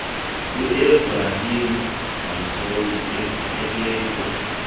uebrahim rasool ephelekwe